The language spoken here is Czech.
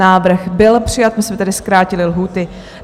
Návrh byl přijat, my jsme tedy zkrátili lhůty.